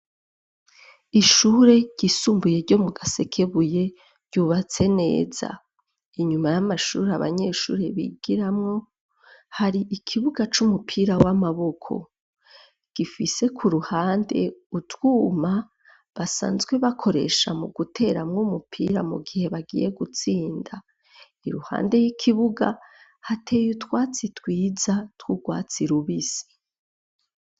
Ishure ryisumbuye ryo mu Gasekebuye ryubatse neza. Inyuma y'amashure abanyeshure bigiramwo hari ikibuga c'umupira w'amaboko, gifise ku ruhande utwuma basanzwe bakoresha mu guteramwo umupira mu gihe bagiye gutsinda, i ruhande y'ikibuga hateye utwatsi twiza twugwatsi rubisi.